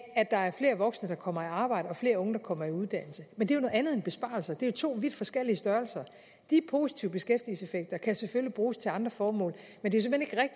at der er flere voksne der kommer i arbejde og flere unge der kommer i uddannelse men det er jo noget andet end besparelser de er to vidt forskellige størrelser de positive beskæftigelseseffekter kan selvfølgelig bruges til andre formål men det